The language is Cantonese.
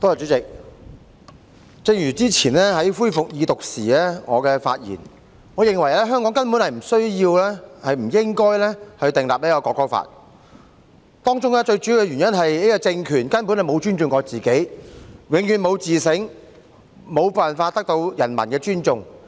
主席，正如之前我在恢復二讀辯論時所說，我認為香港根本不需要、不應該訂立國歌法，當中最主要的原因是這個政權根本未曾尊重自己，永遠不會自省，無法得到人民的尊重。